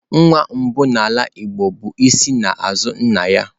Nwa mbụ n'ala igbo bụ isi n'azu nna ya.